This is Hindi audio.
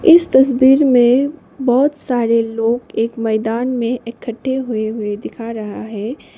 इस तस्वीर में बहोत सारे लोग एक मैदान में इकट्ठे हुए हुए दिखा रहा है।